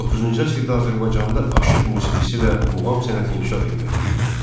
19-cu əsrdə Azərbaycanda aşıq musiqisi və muğam sənəti inkişaf etməkdə idi.